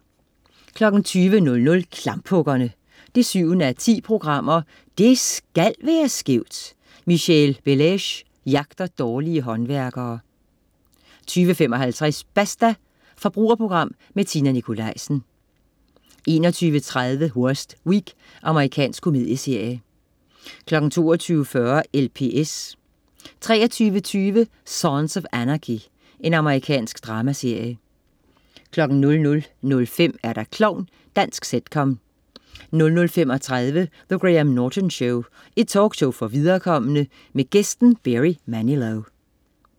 20.00 Klamphuggerne 7:10. Det SKAL være skævt! Michèle Bellaiche jagter dårlige håndværkere 20.55 Basta. Forbrugerprogram med Tina Nikolaisen 21.30 Worst Week. Amerikansk komedieserie 22.40 LPS 23.20 Sons of Anarchy. Amerikansk dramaserie 00.05 Klovn. Dansk sitcom 00.35 The Graham Norton Show. Talkshow for viderekomne. Gæst: Barry Manilow